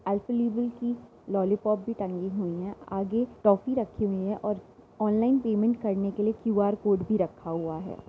Alpenliebe की lollipop भी टंगी हुई हैं आगे टॉफी रखी हुई हैं और ऑनलाइन पेमेंट करने के लिए क्यू.आर. कोड भी रखा हुआ है।